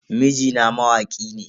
Mijina mawaki ne.